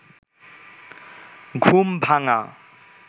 ঘুম ভাঙা